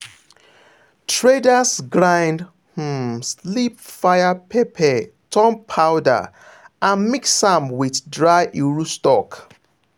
traders grind um sleep fire pepper turn powder and mix am with dry iru stock.